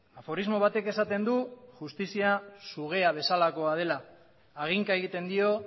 aforismo batek esaten du justizia sugea bezalakoa dela haginka egiten dio